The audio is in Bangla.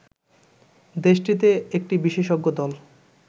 দেশটিতে একটি বিশেষজ্ঞ দল